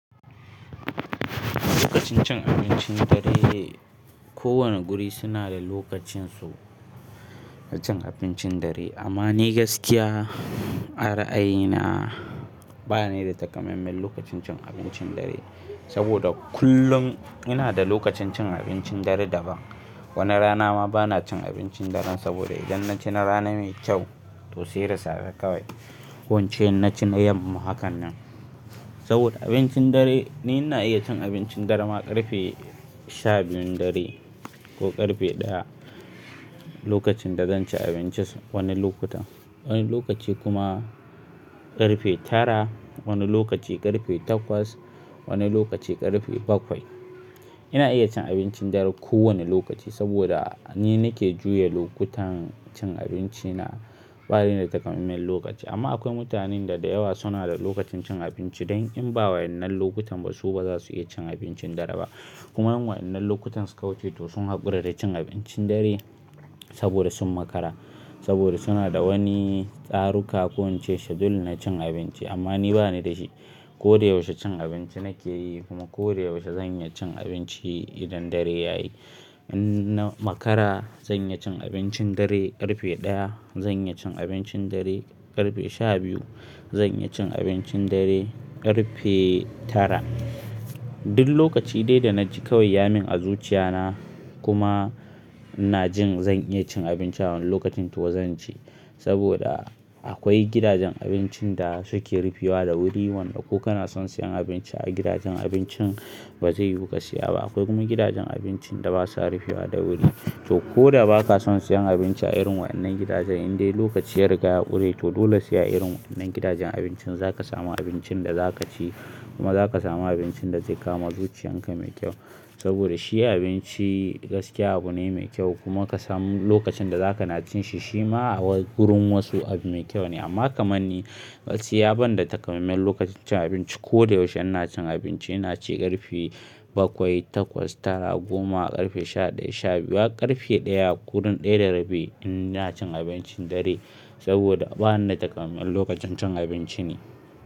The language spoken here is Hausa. Lokacin cin abincin dare, kowane guri suna da lokacin su na cin abincin dare. Amma ni gaskiya, ara'a yina ba ni da takamaiman lokacin cin abincin dare. Saboda kullun ina da lokacin cin abincin dare daban. Wani rana ma bana cin abincin daren saboda idan na ci na rana mai kyau, to sai da safe kawai. Ko ince inna ci na yamma hakan nan. Saboda abincin dare, ni ina iya cin abincin dare ma ƙarfe sha biyun dare ko ƙarfe ɗaya lokacin da zan ci abinci wani lokutan. Wani lokaci kuma ƙarfe tara, wani lokaci ƙarfe takwas, wani lokaci ƙarfe bakwai. Ina iya cin abincin dare kowane lokaci saboda ni nake juya lokutan cin abinci na, ba ni da takamaiman lokaci. Amma akwai mutanen da da yawa suna da lokacin cin abinci don in ba wayannan lokutan ba, su ba za su iya cin abincin dare ba. Kuma in wayannan lokutansu kawuce to sun hakura da cin abincin dare saboda sun makara, saboda suna da wani tsaru ka ko ince schedule na cin abinci. Amma ni ba ni da shi. Ko da yaushe cin abinci nake yi kuma ko da yaushe zan iya cin abinci idan dare ya yi. In na makara, zan iya cin abincin dare ƙarfe ɗaya, zan iya cin abincin dare ƙarfe sha biyu, zan iya cin abincin dare ƙarfe tara. Duk lokaci dai da na ji kawai yamin a zuciya na kuma ina jin zan iya cin abinci a wannan lokacin to zan ci. Saboda akwai gidajen abincin da suke rufewa da wuri. Wanda ko kana son siyan abinci a gidajen abincin, ba zai yu ka siya ba. Akwai kuma gidajen abincin da basa rufewa da wuri. To ko da ba ka son siyan abinci a irin waɗannan gidajen, in dai lokaci ya riga ya ƙure to dole sai a irin waɗannan gidajen abincin za ka samu abincin da za ka ci kuma za ka samu abincin da zai kama zuciyan ka mai kyau. Saboda shi abinci gaskiya abu ne mai kyau kuma ka samu lokacin da za ka na cin shi, shi ma a wurin wasu abu mai kyau ne. Amma kaman ni, gaskiya ban da takamaiman lokacin cin abinci. Ko da yaushe ina cin abinci, ina ci ƙarfe bakwai, takwas, tara, goma, ƙarfe sha ɗaya, sha biyu, hak ƙarfe ɗaya, kudun ɗaya da rabi ina cin abincin dare. Saboda ba ni da takamaiman lokacin cin abinci ne.